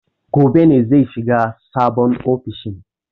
Gobe ne zai shiga sabon ofishin.